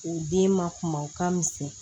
U den ma kuma u ka misɛn